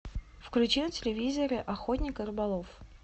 включи на телевизоре охотник и рыболов